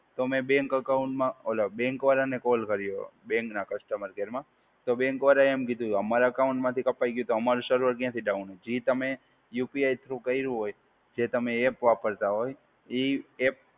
તો મેં બેંક અકાઉંટમાં બેંક ને કોલ કર્યો, બેંકના કસ્ટમર કેરમાં. તો બેંક વાળાએ એમ કીધું કે અમારે એકાઉન્ટ માંથી કપાઈ ગયું તો અમારું સર્વર ક્યાંથી ડાઉન હોય. એ તમે યુપીઆઈ થ્રૂ કર્યું હોય કે તમે એપ વાપરતા હોય, એ એપ